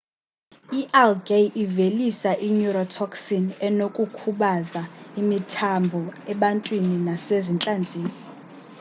i-algae ivelisa i-neurotoxin enokukhubaza imithambo ebantwini nasezintlanzini